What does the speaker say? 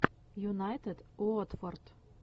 юнайтед уотфорд